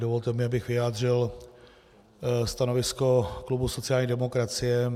Dovolte mi, abych vyjádřil stanovisko klubu sociální demokracie.